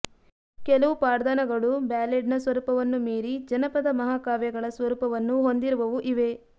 ಕೆಲವು ಪಾಡ್ದನಗಳು ಬ್ಯಾಲೆಡ್ನ ಸ್ವರೂಪವನ್ನು ಮೀರಿ ಜನಪದ ಮಹಾಕಾವ್ಯಗಳ ಸ್ವರೂಪವನ್ನು ಹೊಂದಿರುವವೂ ಇವೆ